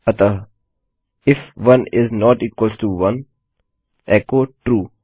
अतः if 1 is not equal to echo True